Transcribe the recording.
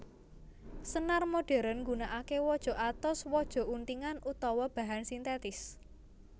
Senar modhèrn nggunakaké waja atos waja untingan utawa bahan sintètis